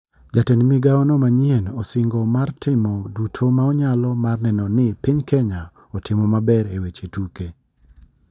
Jatend migao no manyien, osingo mar timo duto ma onyalo mar neneo ne piny kenya otimo maber e weche tuke.